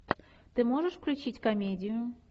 ты можешь включить комедию